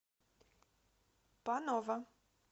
панова